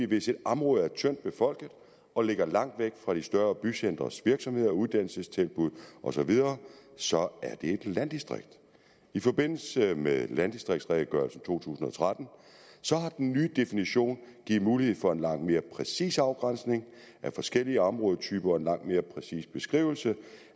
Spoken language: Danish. hvis et område er tyndtbefolket og ligger langt væk fra de større bycentres virksomheder uddannelsestilbud osv så er det et landdistrikt i forbindelse med landdistriktsredegørelsen to tusind og tretten har den nye definition givet mulighed for en langt mere præcis afgrænsning af forskellige områdetyper og en langt mere præcis beskrivelse